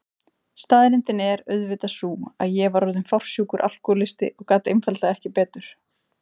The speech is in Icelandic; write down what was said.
Staðreyndin er auðvitað sú að ég var orðin fársjúkur alkohólisti og gat einfaldlega ekki betur.